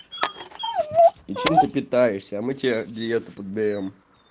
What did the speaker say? и чем ты питаешься мы тебе диета подберём